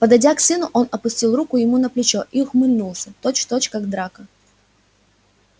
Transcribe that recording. подойдя к сыну он опустил руку ему на плечо и ухмыльнулся точь-в-точь как драко